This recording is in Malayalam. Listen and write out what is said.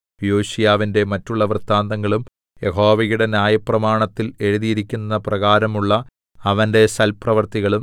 യോശീയാവിന്റെ മറ്റുള്ള വൃത്താന്തങ്ങളും യഹോവയുടെ ന്യായപ്രമാണത്തിൽ എഴുതിയിരിക്കുന്നപ്രകാരമുള്ള അവന്റെ സൽപ്രവൃത്തികളും